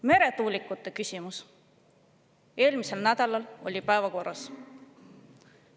Meretuulikute küsimus eelmisel nädalal oli päevakorras.